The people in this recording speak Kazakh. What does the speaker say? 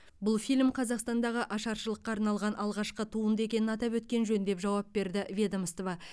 бұл фильм қазақстандағы ашаршылыққа арналған алғашқы туынды екенін атап өткен жөн деп жауап берді ведомство